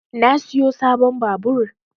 Na siyo sabon babur